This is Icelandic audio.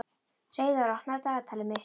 Hreiðar, opnaðu dagatalið mitt.